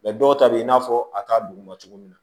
dɔw ta bɛ i n'a fɔ a t'a duguma cogo min